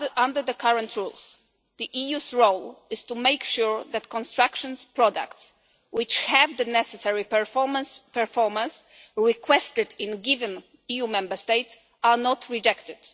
Under the current rules the EU's role is to make sure that construction products which have the necessary performance requested in given EU Member States are not rejected.